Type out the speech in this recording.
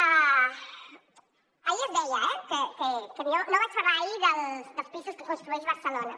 ahir es deia eh que jo no vaig parlar ahir dels pisos que construeix barcelona